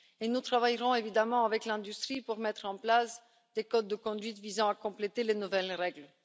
Nous travaillerons évidemment avec l'industrie pour mettre en place des codes de conduite visant à compléter les nouvelles règles.